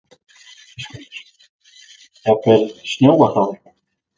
Höskuldur: Jafnvel snjóað þá eitthvað?